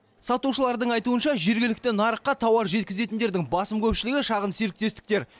сатушылардың айтуынша жергілікті нарыққа тауар жеткізетіндердің басым көпшілігі шағын серіктестіктер